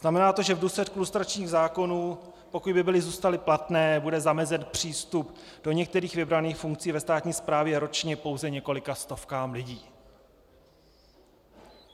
Znamená to, že v důsledku lustračních zákonů, pokud by byly zůstaly platné, bude zamezen přístup do některých vybraných funkcí ve státní správě ročně pouze několika stovkám lidí.